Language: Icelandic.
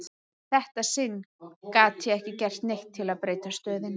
Í þetta sinn gat ég ekki gert neitt til að breyta stöðunni.